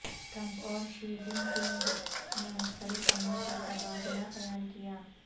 Trump اور Xi Jinping نے مختلف امور پر تبادلہ خیال کیا